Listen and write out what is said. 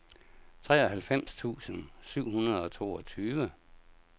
treoghalvfems tusind syv hundrede og toogtyve